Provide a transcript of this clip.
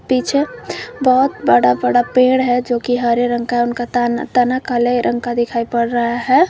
पीछे बहौत बड़ा बड़ा पेड़ है जोकि हरे रंग का उनका ताना तना काले रंग का दिखाई पड़ रहा है।